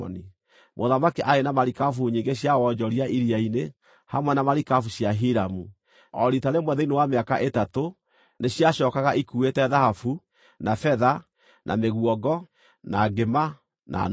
Mũthamaki aarĩ na marikabu nyingĩ cia wonjoria iria-inĩ, hamwe na marikabu cia Hiramu. O riita rĩmwe thĩinĩ wa mĩaka ĩtatũ, nĩciacookaga ikuuĩte thahabu, na betha, na mĩguongo, na ngĩma, na nũgũ.